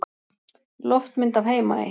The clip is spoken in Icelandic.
Loftmynd af Heimaey.